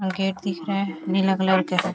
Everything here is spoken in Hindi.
और गेट दिख रहा है नीला कलर का है ।